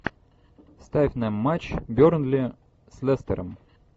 ставь нам матч бернли с лестером